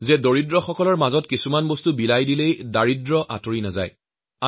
দৰিদ্ৰ লোকসকলক দান দিয়েই দাৰিদ্ৰ্যতাৰ পৰা মুক্ত কৰা অসম্ভৱ সেয়াও তেওঁ দৃঢ়ভাৱে বিশ্বাস কৰিছিল